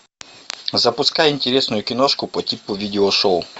запускай интересную киношку по типу видео шоу